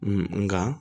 nka